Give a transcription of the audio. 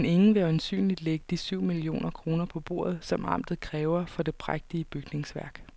Men ingen vil øjensynligt lægge de syv millioner kroner på bordet, som amtet kræver for det prægtige bygningsværk.